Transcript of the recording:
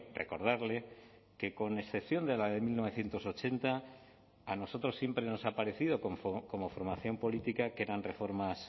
recordarle que con excepción de la de mil novecientos ochenta a nosotros siempre nos ha parecido como formación política que eran reformas